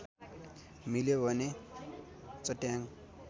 मिल्यो भने चट्याङ